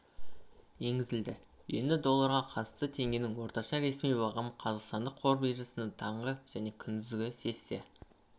енгізілді енді долларға қатысты теңгенің орташа ресми бағамы қазақстан қор биржасындағы таңғы және күндізгі сессия